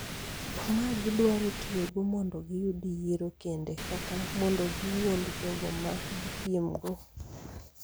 ma gidwaro tiyogo mondo giyud yiero kendo kata mondo giwuond jogo ma gipiemgo.